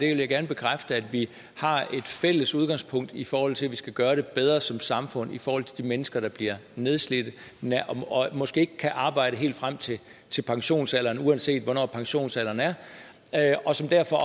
jeg gerne bekræfte at vi har et fælles udgangspunkt i forhold til at vi skal gøre det bedre som samfund for de mennesker der bliver nedslidte og måske ikke kan arbejde helt frem til til pensionsalderen uanset hvornår pensionsalderen er og som derfor